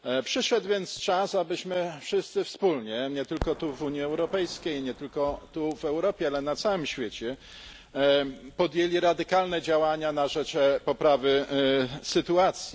Przyszedł więc czas, abyśmy wszyscy wspólnie, nie tylko tu w Unii Europejskiej, nie tylko tu w Europie, ale na całym świecie, podjęli radykalne działania na rzecz poprawy sytuacji.